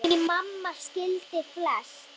Því mamma skildi flest.